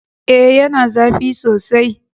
E, yana zafi sosai.